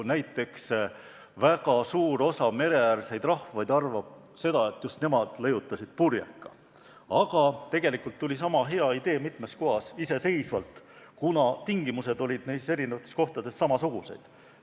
Eks väga suur osa mereäärseid rahvaid arvab, et just nemad leiutasid purjeka, aga tegelikult tekkis sama hea idee mitmes kohas iseseisvalt, kuna tingimused olid nendes erinevates kohtades samasugused.